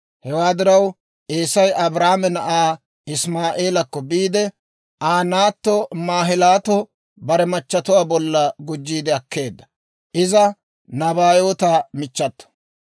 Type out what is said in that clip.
Hewaa diraw Eesay Abrahaame na'aa Isimaa'eelekko biide, Aa naatto Maahilaato bare machatuwaa bolla gujjiide akkeedda. Iza Nabaayoota michchato.